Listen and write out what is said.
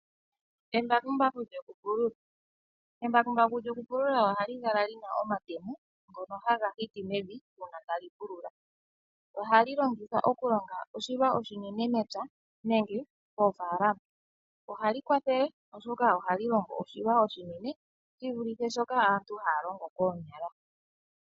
Embakumbaku lyokupulula ohali kala li na omatemo. Ngono haga hiti mevi uuna tali pulula. Ohali longithwa okulonga oshilwa oshinene mepya nenge moofaalama ohali kwathele, oshoka ohali longo oshilwa oshinene shi vulithe shoka aantu haya longo koonyala.